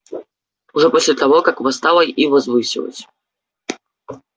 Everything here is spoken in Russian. уже после того как восстала и возвысилась